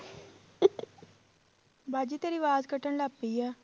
ਬਾਜੀ ਤੇਰੀ ਆਵਾਜ਼ ਕੱਟਣ ਲੱਗ ਪਈ ਆ।